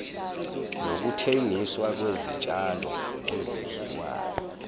nokuthengiswa kwezitshalo ezidliwayo